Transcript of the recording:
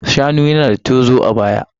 Shanu yana da tozo a baya.